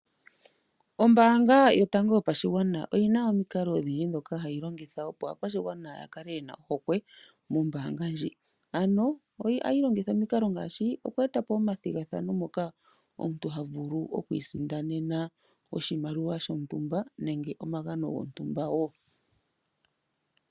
Ombaanga yotango yopashigwana oyina omikalo odhindji ndhoka hayi longitha, opo aakwashigwana ya kale yena ohokwe mombaanga ndjika, ano ohayi longitha omikalo ngaashi oku e ta po omathigathano moka omuntu ha vulu oku isindanena oshimaliwa shontumba nenge omagano gontumba wo.